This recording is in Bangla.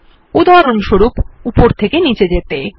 উদাহরণস্বরূপ উপর থেকে নীচে যেতে